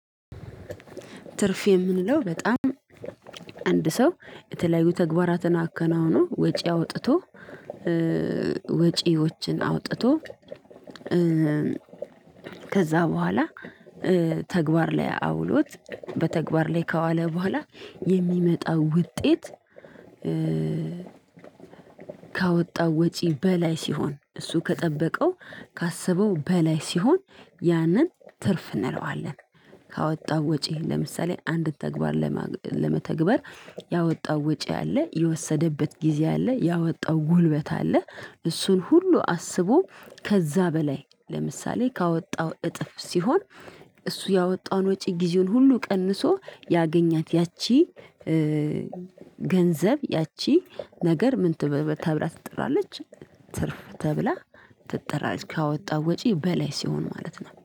ትርፍ የምንለው በጣም አንድ ሰው የተለያዩ ተግባራትን አከናውኖ ወጪ አውጥቶ ወጪዎችን አውጥቶ ከዛ በኋላ ተግባር ላይ አውሎት በተግባር ላይ ከዋለ በኋላ የሚመጣው ውጤት ካወጣው ወጪ በላይ ሲሆን እሱ ከጠበቀው ካሰበው በላይ ሲሆን ያንን ትርፍ እንለዋለን። ካወጣው ወጪ ለምሳሌ አንድን ተግባር ለመተግበር ያወጣው ወጪ አለ፣ የወሰደበት ጊዜ አለ፣ ያወጣው ጉልበት አለ እሱን ሁሉ አስቦ ከዛ በላይ ለምሳሌ ካወጣው እጥፍ ሲሆን እሱ ያወጣውን ወጪ ጊዜውን ሁሉ ቀንሶ ያገኛት ያቺ ገንዘብ ያቺ ነገር ምን ተብላ ትጠራለች ትርፍ ተብላ ትጠራለች ካወጣው ወጪ በላይ ሲሆን ማለት ነው።